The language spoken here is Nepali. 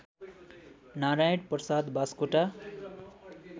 नारायण प्रसाद बासकोटा